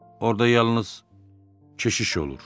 Orda yalnız keşiş olur.